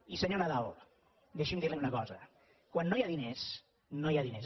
i senyor nadal deixi’m dir·li una cosa quan no hi ha diners no hi ha diners